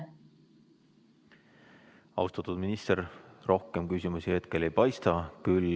Austatud minister, rohkem küsimusi teile ei paista olevat.